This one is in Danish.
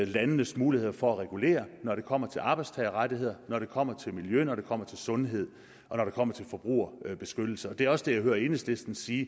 landenes muligheder for at regulere når det kommer til arbejdstagerrettigheder når det kommer til miljø når det kommer til sundhed og når det kommer til forbrugerbeskyttelse det er også det jeg hører enhedslisten sige